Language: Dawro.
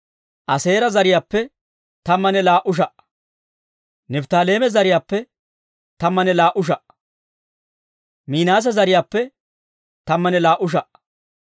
Aaseera zariyaappe, tammanne laa"u sha"aa. Nifttaaleeme zariyaappe, tammanne laa"u sha"aa. Minaase zariyaappe, tammanne laa"u sha"aa.